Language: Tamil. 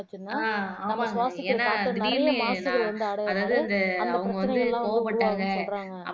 ஆஹ் ஆமா எனா திடீருனு நா அதாவது இந்த அவங்க வந்து கோவப்பட்டாங்க